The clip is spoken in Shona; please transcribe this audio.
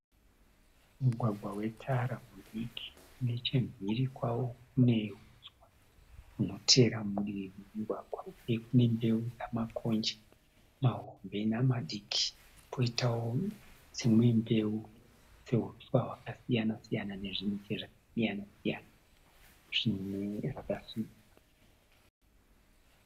Mugwagwa wetara mudiki nechemhiri kwawo kune huswa hunotevera mudivi memugwagwa uye kune mbeu dzamakoji mahombe namadiki poitawo dzimwe mbeu dzehuswa hwakasiyana siyana nezvimiti zvakasiyana siyana zvimwe zvakasimba.